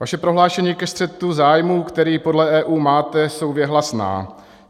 Vaše prohlášení ke střetu zájmů, který podle EU máte, jsou věhlasná.